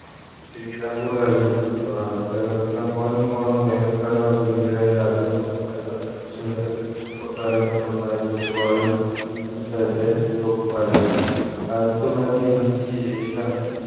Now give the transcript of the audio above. തിരുവിതാംകൂർ രാജ കുടുംബത്തിനോടാണ് കേരളത്തിൽ അങ്ങോളം ഇങ്ങോളം വേനൽ കാലം ആസ്വദികുകയായി രാജ കുടുംബം പണിത സുന്ദര കെ കൊട്ടാരങ്ങളിൽ ഒന്നായിരുന്നു ഇടപാളയം എന്ന സ്ഥാനത്തെ lock palace ആയിരത്തി തൊള്ളായിരത്തി ഇരുപത്തി ഏഴിലാണ്